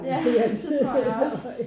Ja det tror jeg også